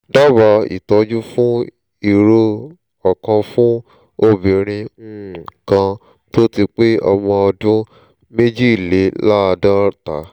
dabaa ìtọ́jú fún ìró ọkànfún obìnrin um kan tó ti pé ọmọ ọdún méjìléláàádọ́ta